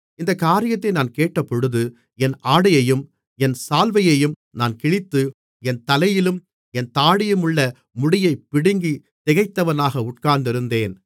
இந்தக் காரியத்தை நான் கேட்டபொழுது என் ஆடையையும் என் சால்வையையும் நான் கிழித்து என் தலையிலும் என் தாடியிலுமுள்ள முடியைப் பிடுங்கித் திகைத்தவனாக உட்கார்ந்திருந்தேன்